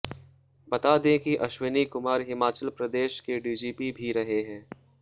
बता दें कि अश्विनी कुमार हिमाचल प्रदेश के डीजीपी भी रहे हैं